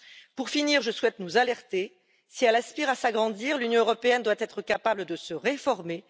Pour finir, je souhaite nous alerter si elle aspire à s'agrandir, l'Union européenne doit être capable de se réformer.